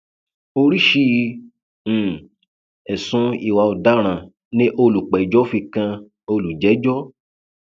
oríṣìí um ẹsùn ìwà ọdaràn ni olùpẹjọ fi kan olùjẹjọ